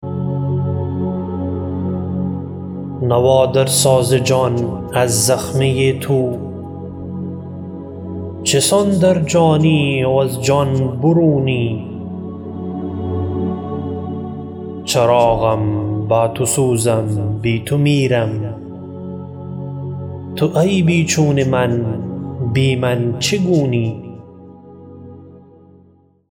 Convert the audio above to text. نوا در ساز جان از زخمه تو چسان در جانی و از جان برونی چراغم با تو سوزم بی تو میرم تو ای بیچون من بی من چگونی